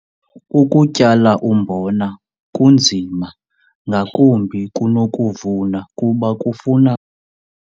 Ukutyala umbona kunzima ngakumbi kunokuvuna kuba kufuna.